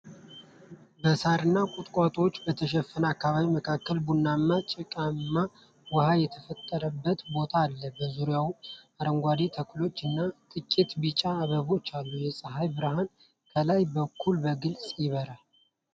በሣርና ቁጥቋጦ በተሸፈነ አካባቢ መካከል ቡናማ ጭቃማ ውሃ የተጠራቀመበት ቦታ አለ። በዙሪያው አረንጓዴ ተክሎች እና ጥቂት ቢጫ አበቦች አሉ። የፀሐይ ብርሃን ከላይ በኩል በግልጽ ያበራል።